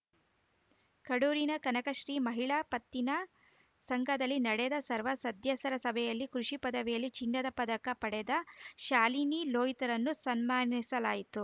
ಕಡೂರಿನ ಕನಕಶ್ರೀ ಮಹಿಳಾ ಪತ್ತಿನ ಸಂಘದಲ್ಲಿ ನಡೆದ ಸರ್ವ ಸತ್ಯ ಸ್ಯರ ಸಭೆಯಲ್ಲಿ ಕೃಷಿ ಪದವಿಯಲ್ಲಿ ಚಿನ್ನದ ಪದಕ ಪಡೆದ ಶಾಲಿನಿ ಲೋಹಿತ್‌ರನ್ನು ಸನ್ಮಾನಿಸಲಾಯಿತು